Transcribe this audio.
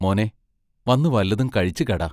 മോനേ, വന്നു വല്ലതും കഴിച്ചു കെട.